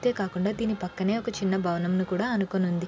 అంతే కాకుండా దీని పక్కన ఒక చిన్న భవనం అనుకోని ఉంది.